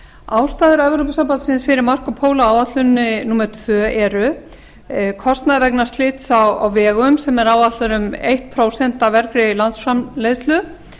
ástæður evrópusambandsins fyrir marco polo áætluninni númer tvö eru kostnaður vegna slysa á vegum sem er áætlaður um eitt prósent af vergri landsframleiðslu